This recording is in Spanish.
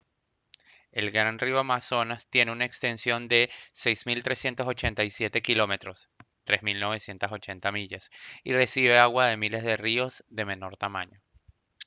el gran río amazonas tiene una extensión de 6387 km 3980 millas y recibe agua de miles de ríos de menor tamaño